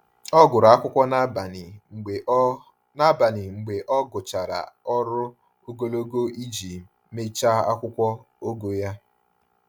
Ọ gụrụ akwụkwọ n’abalị mgbe ọ n’abalị mgbe ọ gụchara ọrụ ogologo iji mechaa akwụkwọ ogo ya.